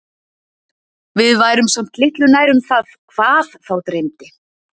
Við værum samt litlu nær um það HVAÐ þá dreymdi.